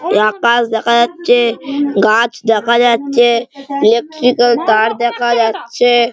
আকাশ দেখা যাচ্ছে গাছ দেখা যাচ্ছে ইলেকট্রিক তার দেখা যাচ্ছে।